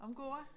Om gårde?